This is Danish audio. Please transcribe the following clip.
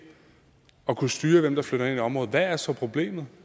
at kunne styre hvem der flytter ind i et område hvad er så problemet